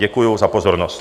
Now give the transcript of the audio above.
Děkuji za pozornost.